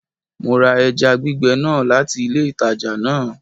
Mo ra eja gbìgbe náà láti ilé ìtajà náà